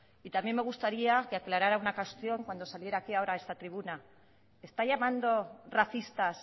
y también me gustaría que aclarara una cuestión cuando saliera ahora aquí a esta tribuna está llamando racistas